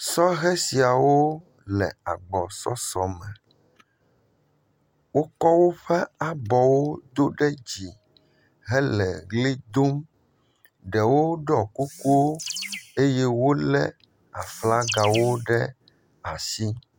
Sɔhɛ siawo le agbɔsɔsɔme. wokɔ woƒe abɔwo do ɖe dzi hele ʋli dom. Ɖewo ɖɔ kukuwo eye wolé aflagawo ɖe asi.